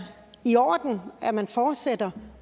i orden at man fortsætter